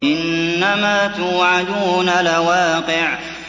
إِنَّمَا تُوعَدُونَ لَوَاقِعٌ